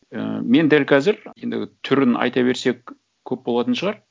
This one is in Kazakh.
ы мен дәл қазір енді түрін айта берсек көп болатын шығар